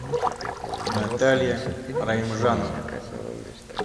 наталья раимжанова